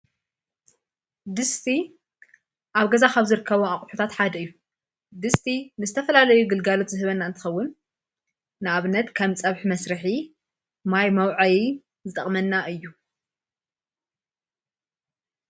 ድስቲ ኣብ ገዛ ኻብ ዘርከቦ ኣቝሑታት ሓደ እዩ ድስቲ ንስተፈላለዩ ግልጋሎት ዝህበና እንትኸውን ንኣብነት ከም ጸብሕ መሥርኂ ማይ ማውዐይ ዝጠቕመና እዩ::